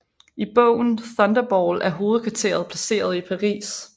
I bogen Thunderball er hovedkvarteret placeret i Paris